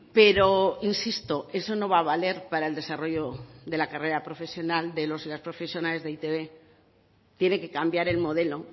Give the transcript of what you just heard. pero insisto eso no va a valer para el desarrollo de la carrera profesional de los y las profesionales de e i te be tiene que cambiar el modelo